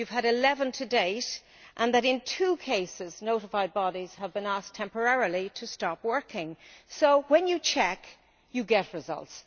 You have had eleven to date, and in two cases notified bodies have been asked temporarily to stop working. So when you check, you get results.